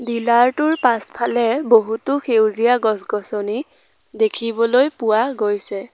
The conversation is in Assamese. ডিলাৰ টোৰ পাছফালে বহুতো সেউজীয়া -গছনি দেখিবলৈ পোৱা গৈছে।